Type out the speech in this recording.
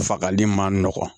Fagali man nɔgɔn